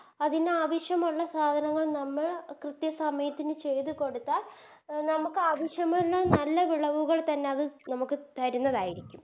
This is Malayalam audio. അതിനാവശ്യമുള്ള സാധനങ്ങൾ നമ്മൾ കൃത്യ സമയത്തിന് ചെയ്ത കൊടുത്താൽ അഹ് നമുക്കാവശ്യമുള്ള നല്ല വിളവുകൾ തന്നെ അത് നമുക്ക് തരുന്നതായിരിക്കും